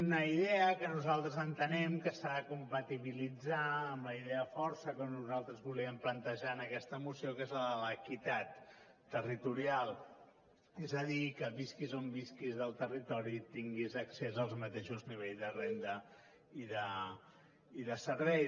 una idea que nosaltres entenem que s’ha de compatibilitzar amb la idea de força que nosaltres volíem plantejar en aquesta moció que és la de l’equitat territorial és a dir que visquis on visquis del territori tinguis accés al mateix nivell de renda i de serveis